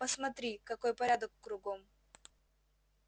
посмотри какой порядок кругом